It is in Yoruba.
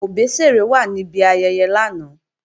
Òbésèré wà níbi ayẹyẹ lánàá